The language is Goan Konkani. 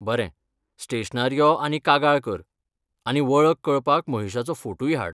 बरें, स्टेशनार यो आनी कागाळ कर, आनी वळख कळपाक महेशाचो फोटूय हाड.